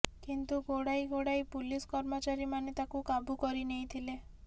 କିନ୍ତୁ ଗୋଡ଼ାଇ ଗୋଡ଼ାଇ ପୁଲିସ କର୍ମଚାରୀମାନେ ତାକୁ କାବୁ କରି ନେଇଥିଲେ